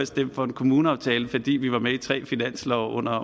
stemt for en kommuneaftale fordi vi var med i tre finanslove under